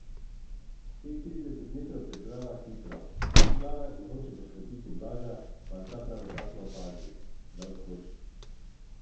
Teh trideset metrov preplava hitro, izplava in hoče poškropiti Blaža, pa jo ta pravočasno opazi, da odskoči.